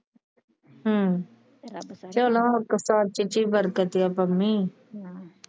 ਹਮ ਰੱਬ ਚਲੋ ਹੱਕ ਸੱਚ ਚ ਈ ਵਰਤ ਕੇ ਕਰਨੀ